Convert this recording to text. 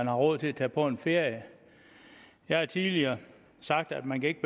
har råd til at tage på en ferie jeg har tidligere sagt at man ikke